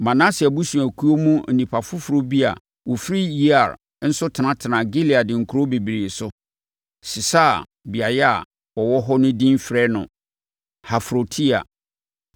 Manase abusuakuo mu nnipa foforɔ bi a wɔfiri Yair nso tenatenaa Gilead nkuro bebree so, sesaa beaeɛ a wɔwɔ hɔ no din frɛɛ hɔ Hafrotyair.